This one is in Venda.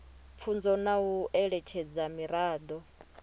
pfunzo na u eletshedza miraḓo